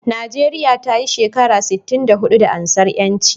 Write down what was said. Nigeria tayi shekara sitin da hudu da ansar yanci